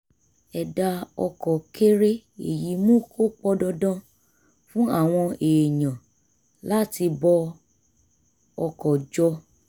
ẹ̀dá ọkọ̀ kéré èyí mú kó pọn dandan fún àwọn èèyàn láti bọ ọkọ̀ jọ